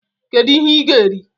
kedu ihe i gá eri?